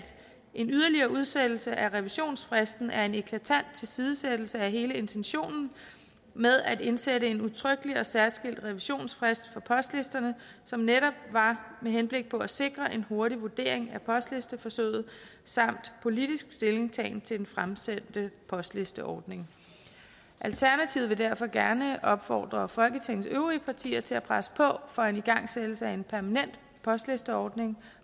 en yderligere udsættelse af revisionsfristen er en eklatant tilsidesættelse af hele intentionen med at indsætte en udtrykkelig og særskilt revisionsfrist for postlisterne som netop var med henblik på at sikre en hurtig vurdering af postlisteforsøget samt politisk stillingtagen til den fremtidige postlisteordning alternativet vil derfor gerne opfordre folketingets øvrige partier til at presse på for en igangsættelse af en permanent postlisteordning